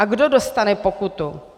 A kdo dostane pokutu?